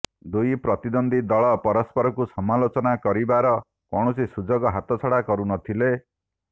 ଦୁଇ ପ୍ରତିଦ୍ୱନ୍ଦୀ ଦଳ ପରସ୍ପରକୁ ସମାଲୋଚନା କରିବାର କୌଣସି ସୁଯୋଗ ହାତଛଡ଼ା କରୁନଥିଲେ